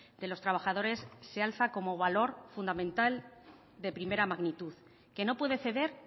de los trabajadores se alza como valor fundamental de primera magnitud que no puede ceder